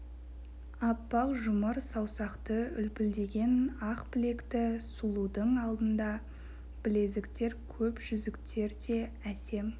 аппақ жұмыр саусақты үлпілдеген ақ білекті сұлудың алтынды білезіктер көп жүзіктер де әсем